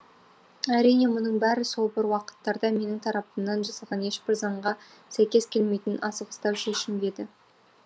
әрине мұның бәрі сол бір уақыттарда менің тарапымнан жасалған ешбір заңға сәйкес келмейтін асығыстау шешім еді